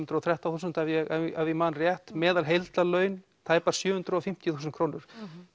hundruð og þrettán þúsund ef ég ef ég man rétt meðal heildarlaun tæpar sjö hundruð og fimmtíu þúsund krónur